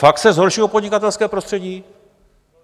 Fakt se zhoršilo podnikatelské prostředí?